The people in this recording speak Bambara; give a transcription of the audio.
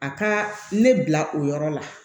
A ka ne bila o yɔrɔ la